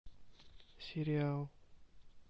сериал